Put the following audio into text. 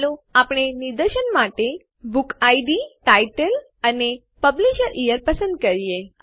ચાલો આપણે નિદર્શન માટે બુકિડ ટાઇટલ અને publish યીયર પસંદ કરીએ